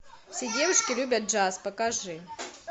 все девушки любят джаз покажи